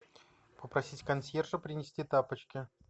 попросить консьержа принести тапочки